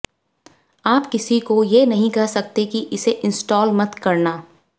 आप किसी को ये नहीं कह सकते की इसे इनस्टॉल मत करना